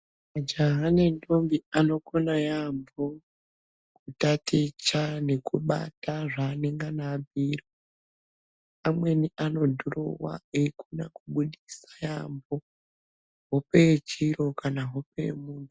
Majaha nendombi ano Kona yambo kutaticha nekubata zvanenge abhuirwa amweni anodhirowa eikona Kubudisa hope yechiro kana hope yemuntu.